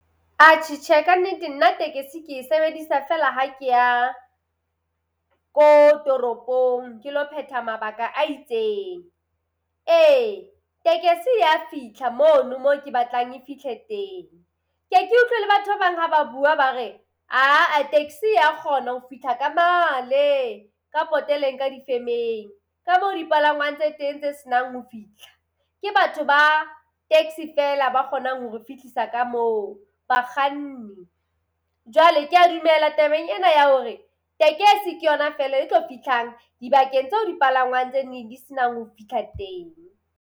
Atjhe tjhe, ka nnete nna tekesi ke e sebedisa feela ha ke ya ko toropong ke ilo phetha mabaka a itseng. Ee tekesi ya fihla mono mo ke batlang e fihle teng. Ke e ke utlwe le batho ba bang ha ba bua ba re ha-ah taxi ya kgona ho fihla ka male ka poteleng ka di-firm-eng, ka mo dipalangwang tse teng tse se nang ho fihla. Ke batho ba taxi feela ba kgonang ho re fihlisa ka moo, bakganni. Jwale kea dumela tabeng ena ya hore tekesi ke yona feela e tlo fihlang dibakeng tseo dipalangwang tse ding di se nang ho fihla teng.